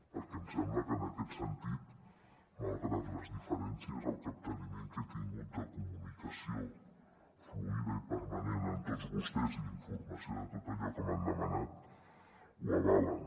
perquè em sembla que en aquest sentit malgrat les diferències el capteniment que he tingut de comunicació fluïda i permanent amb tots vostès i d’informació de tot allò que m’han demanat ho avalen